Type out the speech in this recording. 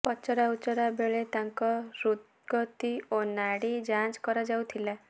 ପଚରାଉଚରା ବେଳେ ତାଙ୍କ ହୃଦ୍ଗତି ଓ ନାଡି ଯାଞ୍ଚ କରାଯାଉଥିଲା